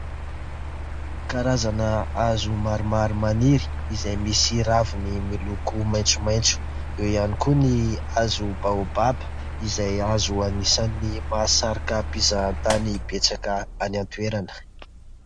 Karazana hazo maromaro maniry izay misy ravina miloko maitsomaitso. Eo ihany koa ny hazo baobaba izay hazo anisany mahasarika mpizahatany betsaka any an-toerana.